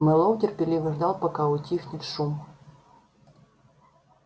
мэллоу терпеливо ждал пока утихнет шум